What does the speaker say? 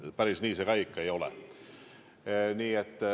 Päris nii see ka ei ole.